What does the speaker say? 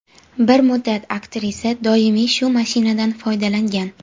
Bir muddat aktrisa doimiy shu mashinadan foydalangan.